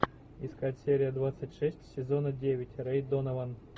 искать серия двадцать шесть сезона девять рэй донован